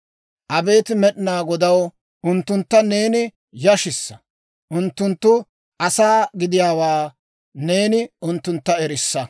Abeet Med'inaa Godaw, unttuntta neeni yashissa; unttunttu asaa gidiyaawaa neeni unttuntta erissa.